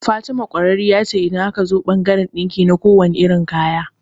Fatima kwararriya ce idan aka zo bangaran ɗinki na kuwanne kalan kaya